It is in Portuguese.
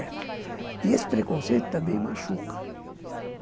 E esse preconceito também machuca.